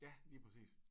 Ja lige præcis